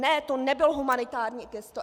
Ne, to nebylo humanitární gesto.